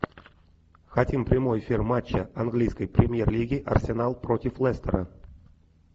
хотим прямой эфир матча английской премьер лиги арсенал против лестера